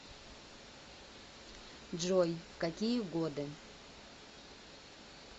джой в какие годы